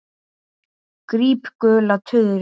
Gríp gula tuðru.